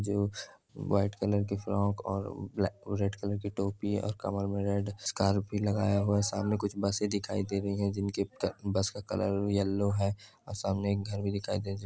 जो white colour कि frock और रेड कलर कि टोपी और कमर में रेड स्कार्फ भी लगाया हुआ है सामने कुछ बसें दिखाई दे रही हैं जिनके बस का कलर येल्लो है और सामने एक घर भी दिखाई दे--